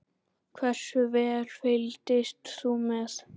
Hversu vel fylgdist þú með?